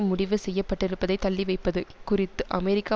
முடிவு செய்யப்பட்டிருப்பதை தள்ளிவைப்பது குறித்து அமெரிக்கா